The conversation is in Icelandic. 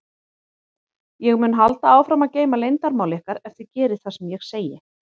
Ég mun halda áfram að geyma leyndarmál ykkar ef þið gerið það sem ég segi.